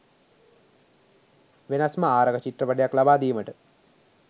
වෙනස්ම ආරක චිත්‍රපටියක් ලබාදීමට